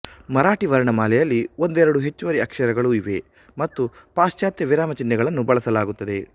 ಮರಾಠಿ ವರ್ಣಮಾಲೆಯಲ್ಲಿ ಒಂದೆರಡು ಹೆಚ್ಚುವರಿ ಅಕ್ಷರಗಳು ಇವೆ ಮತ್ತು ಪಾಶ್ಚಾತ್ಯ ವಿರಾಮ ಚಿಹ್ನೆಗಳನ್ನು ಬಳಸಲಾಗುತ್ತದೆ